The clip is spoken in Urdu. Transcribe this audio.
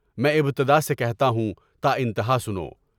میں ابتدا سے کہتا ہوں، تا انتہا سنو!